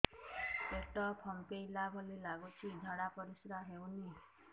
ପେଟ ଫମ୍ପେଇଲା ଭଳି ଲାଗୁଛି ଝାଡା ପରିସ୍କାର ହେଉନି